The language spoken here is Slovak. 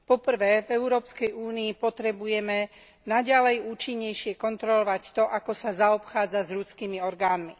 1. V európskej únii potrebujeme naďalej účinnejšie kontrolovať to, ako sa zaobchádza s ľudskými orgánmi.